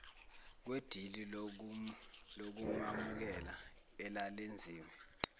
kwedili lokumamukela elalenziwe